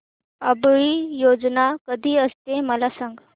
आवळी भोजन कधी असते मला सांग